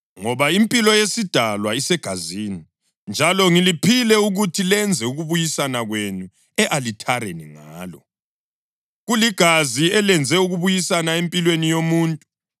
Ngoba impilo yesidalwa isegazini, njalo ngiliphile ukuthi lenze ukubuyisana kwenu e-alithareni ngalo; kuligazi elenze ukubuyisana empilweni yomuntu.